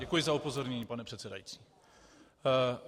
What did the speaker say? Děkuju za upozornění, pane předsedající.